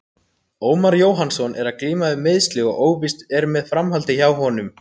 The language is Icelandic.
Ómar Jóhannsson er að glíma við meiðsli og óvíst er með framhaldið hjá honum.